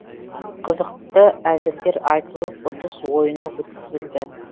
қызықты әзілдер айтылып ұтыс ойыны өткізілді